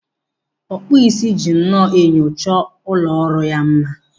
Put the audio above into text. Ọkpụ isi ji nnọọ enyo chọọ ụlọ ọrụ ya mma.